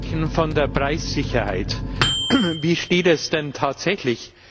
Sie reden von der Preissicherheit. Wie steht es denn tatsächlich?